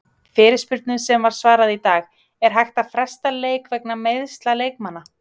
Fyrirspurnum sem var svarað í dag:- Er hægt að fresta leik vegna meiðsla leikmanna?